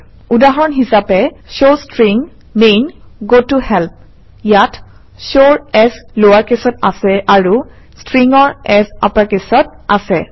উদাহৰণ হিচাপে showString main goToHelp ইয়াত show ৰ s লৱাৰ কেচত আছে আৰু String ৰ S আপাৰকেচত আছে